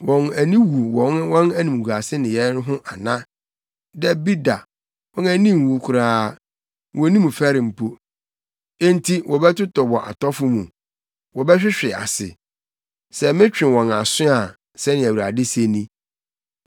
Wɔn ani wu wɔ wɔn animguase nneyɛe no ho ana? Dabi da, wɔn ani nnwu koraa; wonnim fɛre mpo. Enti wɔbɛtotɔ wɔ atɔfo mu; wɔbɛhwehwe ase, sɛ metwe wɔn aso a, sɛnea Awurade se ni.